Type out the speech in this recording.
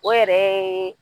O yɛrɛ ye